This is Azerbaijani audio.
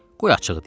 Qoy açıq deyim.